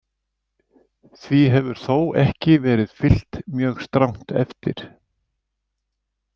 Því hefur þó ekki verið fylgt mjög strangt eftir.